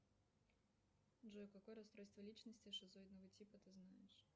джой какое расстройство личности шизоидного типа ты знаешь